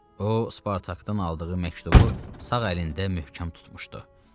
O, Spartakdan aldığı məktubu sağ əlində möhkəm tutmuşdu.